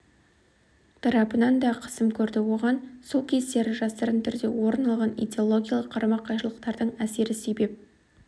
тарапынан да қысым көрді оған сол кездері жасырын түрде орын алған идеологиялық қарама-қайшылықтардың әсері себеп